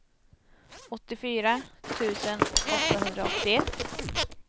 åttiofyra tusen åttahundraåttioett